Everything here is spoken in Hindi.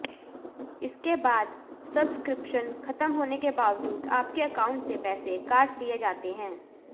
इसके बाद सब्सक्रिप्शन खत्म होने के बावजूद आपके अकाउंट से पैसे काट लिए जाते हैं